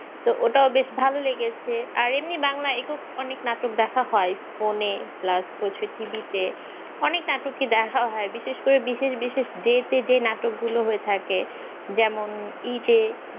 তো ওটা ও বেশ ভালো লেগেছে আর এমনি বাংলা একক অনেক নাটক দেখা হয় ফোনে plus হচ্ছে TV তে অনেক নাটকই দেখা হয় বিশেষ করে বিশেষ বিশেষ day তে যে নাটকগুলো হয়ে থাকে যেমন ঈদে